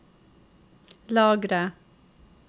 lagre